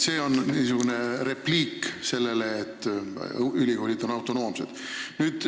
See on repliik selle kohta, et ülikoolid on autonoomsed.